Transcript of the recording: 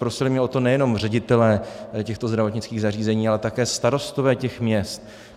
Prosili mě o to nejenom ředitelé těchto zdravotnických zařízení, ale také starostové těch měst.